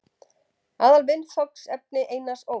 Aðalviðfangsefni Einars Ól.